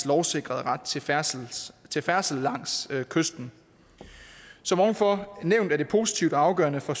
lovsikrede ret til færdsel til færdsel langs kysten som ovenfor nævnt er det positivt og afgørende for